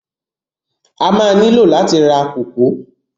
A má á nílò láti ra kòkó.